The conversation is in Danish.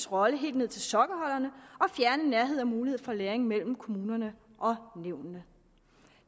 rolle helt ned til sokkeholderne og fjerne nærhed og muligheden for læring mellem kommunerne og nævnene